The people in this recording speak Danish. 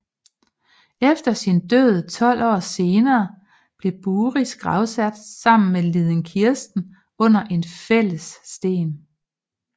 Efter sin død 12 år senere blev Buris gravsat sammen med liden Kirsten under en fælles sten